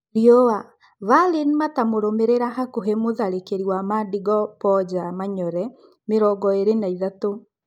(Rĩua) Valine matamũrũmĩrĩra hakũhĩ mũtharĩkĩri wa Mandingo Mboja Manyore, mĩrongoĩrĩ na-ĩtatu.